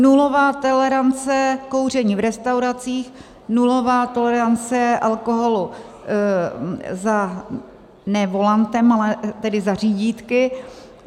Nulová tolerance kouření v restauracích, nulová tolerance alkoholu ne za volantem, ale tedy za řídítky.